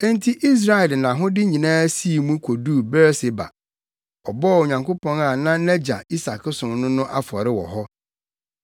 Enti Israel de nʼahode nyinaa sii mu koduu Beer-Seba. Ɔbɔɔ Onyankopɔn a na nʼagya Isak som no no afɔre wɔ hɔ.